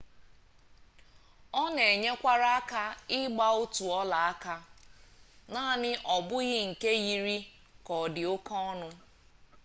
ọ na-enyekwara aka ịgba otu ọlaaka naanị ọ bụghị nke yiri ka ọ dị oke ọnụ